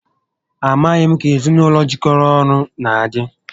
A maghị m ka ezinaụlọ jikọrọ ọnụ na adị